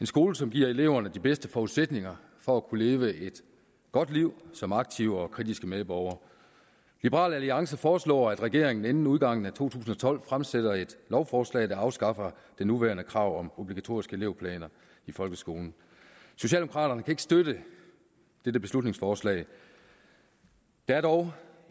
skole som giver eleverne de bedste forudsætninger for at kunne leve et godt liv som aktive og kritiske medborgere liberal alliance foreslår at regeringen inden udgangen af år to tusind og tolv fremsætter et lovforslag der afskaffer det nuværende krav om obligatoriske elevplaner i folkeskolen socialdemokraterne kan ikke støtte dette beslutningsforslag der er dog